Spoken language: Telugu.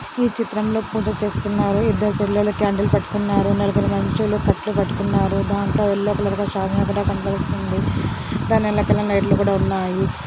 ఈ చిత్రంలో పూజ చేస్తున్నారు. ఇద్దరు పిల్లలు క్యాండిల్ పట్టుకున్నారు. నలుగురు మనుషులు కట్టెలు పట్టుకున్నారు. దాంట్లో ఎల్లో కలర్ శాలువా ఒకటి పక్కన కనబడుతుంది. దాని వెనకాల లైట్ లు కూడా ఉన్నాయి.